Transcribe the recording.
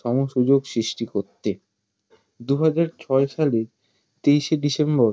সম-সুযোগ সৃষ্টি করতে দুহাজার ছয় সালের তেইশে ডিসেম্বর